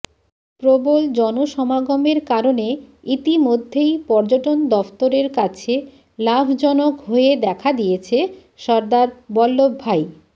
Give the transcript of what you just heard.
প্রবল জনসমাগমের কারণে ইতিমধ্যেই পর্যটন দফতরের কাছে লাভজনক হয়ে দেখা দিয়েছে সর্দার বল্লভ ভাই